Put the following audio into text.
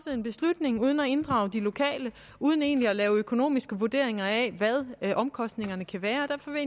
en beslutning uden at inddrage de lokale og uden egentlig at lave økonomiske vurderinger af hvad omkostningerne kan være derfor vil